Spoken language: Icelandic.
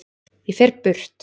Ég fer burt.